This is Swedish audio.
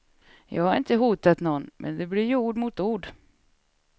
Jag har inte hotat någon, men det blir ju ord mot ord.